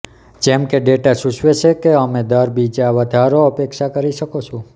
જેમ કે ડેટા સૂચવે છે કે અમે દર બીજા વધારો અપેક્ષા કરી શકો છો